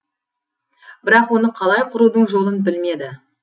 бірақ оны қалай құрудың жолын білмеді